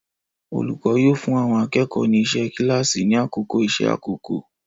Olùkọ́ yóò fún àwọn akẹ́kọ̀ọ́ ni iṣẹ́ kíláàsì ni àkókò iṣẹ́ àkọ́kọ́.